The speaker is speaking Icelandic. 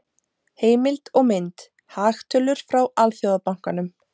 Heimild og mynd: Hagtölur frá Alþjóðabankanum.